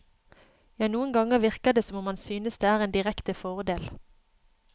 Ja, noen ganger virker det som om han synes det er en direkte fordel.